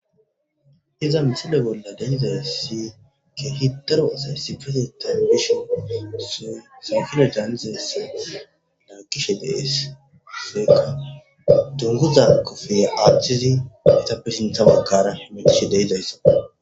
Hiza misile bolla danizay si ke hitaro sayssifese tayn bishe su saakire daanzese laa kishe dees seka dunguza kofey aachchizi eta pesenthabakkara hemegishe deizayssa.